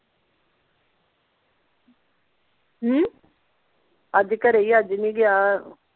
ਹਮ ਅੱਜ ਘਰੇ ਹੀ ਆ ਅੱਜ ਨਹੀਂ ਗਿਆ ਓਹ